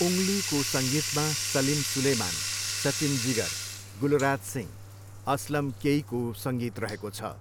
उङ्गलीको सङ्गीतमा सलिम सुलेमान, सचिन जिगर, गुलराज सिंह, असलम केईको सङ्गीत रहेको छ।